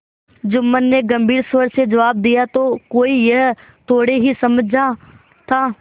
जुम्मन ने गम्भीर स्वर से जवाब दियातो कोई यह थोड़े ही समझा था